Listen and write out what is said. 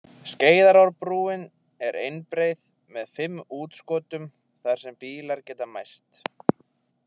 Skeiðarárbrúin er einbreið með fimm útskotum þar sem bílar geta mæst.